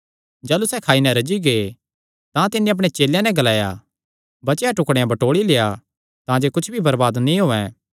जाह़लू सैह़ खाई नैं रज्जी गै तां तिन्नी अपणे चेलेयां नैं ग्लाया बचेयो टुकड़ेयां बटोल़ी लेआ तांजे कुच्छ भी बरबाद नीं होयैं